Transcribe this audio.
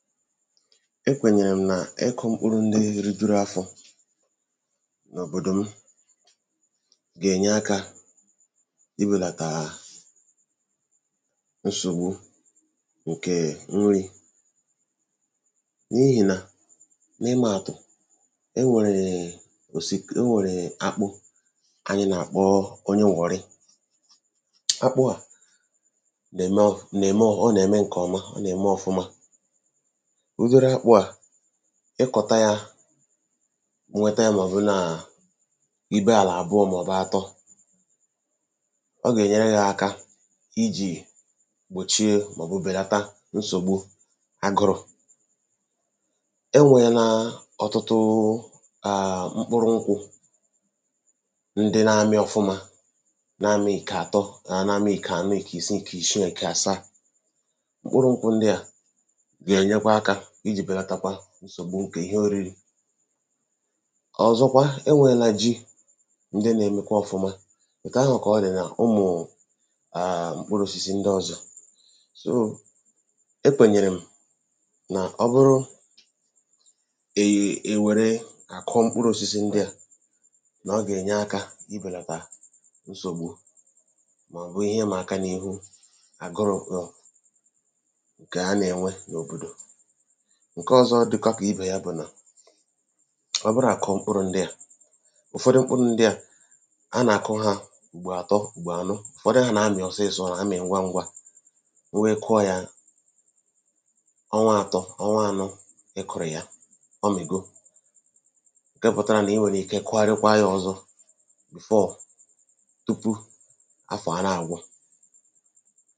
E kwènyèrè m̀ nà ịkụ̄ mkpụrụ ndị rijuru afọ n’òbòdò m gènye akā iwèlàtàà nsògbu ǹkè nrī n’ihìnà n’imāàtụ̀ enwèrèè enwèrèè akpụ kanyị nàkpọ onyee wọ̀rị, akpụ à nème ǹkọ̀ọma, ọ nème ọfụma, ụdịrị akpụ̄ à, ịkọ̀ta yā i nweta yā ọ̀ bụ nàà ibe àlà àbụọ mọ̀bụ̀ àtọ. Ọ gènyere gị̄ aka ijì gbòchie mọ̀bụ̀ bèlata nsògbu agụrụ̄. E nwēlaa ọ̀tụtụụ mkpụrụ nkwụ̄ ̄ ndị nāmị ọ̀fụma namị̄ ìkè àtọ, namɪ̣̄ ìkànọ, ìkìshii, ìkàsaa. Mkpụrụ nkwụ̄ ndị à gènyekwa akā ijī bèlatakwa nsògbu ǹkì ihe òriri Ọ̀zọkwa, e nwēlaa ji ndị nēmekwa òfụma ètù ahụ̀ kà ọ dị̀ nà ụmụ̀ụ̀ mkpụrụ osisi ndọzọ̄, e kwènyèrè m̀ nà ọ bụrụ àkụọ mkpụrụ̄ osisi ndị à nà ọ gènye akā ibèlàtà nsògbu mọ̀bụ̀ ihe ịmā aka n’ihu agụrụ̄ bụ̀ ǹkà a nènwe n’òbòdò. Ǹkọọzọ dịkwa kì ibè ya bụ̀ nà ọ bụ nàkụọ mkpụrụ ndị à, ụ̀fọdụ mkpụrụ ndị à a nà-àkụ hā ùgbò àtọ, ùgbò ànọ ùfodu hā nàamị̀ ọsọ ọ̄sọ̄, amị̀ ngwa ngwa wụ ị kụọ yā ọnwa ātọ̄, ọnwa ānọ̄ ị kụ̀rụ̀ ya ọ mị̀go ǹke kpātara nà ị nwèrè ike kụgharịkwaa yā ọ̀zọ tupu afọ̀ à na-àgwụ